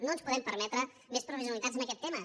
no ens podem permetre més provisionalitats en aquest tema